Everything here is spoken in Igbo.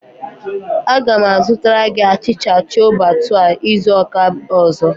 Aga m azụtara gị achịcha chole bhature izu ụka ọzọ.